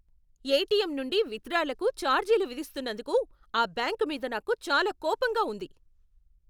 ATM నుండి విత్డ్రాలకు ఛార్జీలు విధిస్తున్నందుకు ఆ బ్యాంకు మీద నాకు చాలా కోపంగా ఉంది.